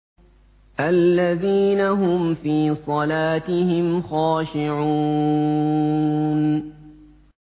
الَّذِينَ هُمْ فِي صَلَاتِهِمْ خَاشِعُونَ